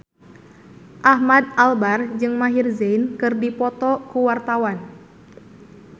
Ahmad Albar jeung Maher Zein keur dipoto ku wartawan